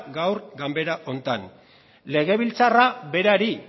gaur ganbara honetan legebiltzarra berari